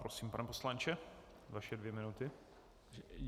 Prosím, pane poslanče, vaše dvě minuty.